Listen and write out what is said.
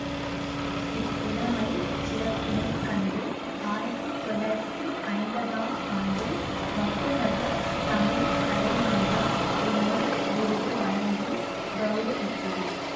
இப்புலமைச் சிறப்பினை கண்டு ஆயிரத்தி தொள்ளாயிரத்தி ஐம்பதாம் ஆண்டில் மட்டுநகர் தமிழ் கலைமன்றம் என்னும் விருது வழங்கிக் கவுரவித்தது